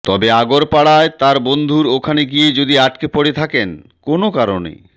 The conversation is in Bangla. তবে আগরপাড়ায় তার বন্ধুর ওখানে গিয়ে যদি আটকে পড়ে থাকেন কোন কারণে